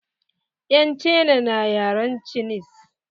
Yan cina na yaren cinis.